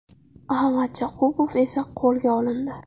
A. Matyakubov esa qo‘lga olindi.